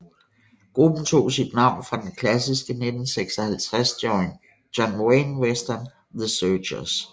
Gruppen tog sit navn fra den klassiske 1956 John Wayne western The Searchers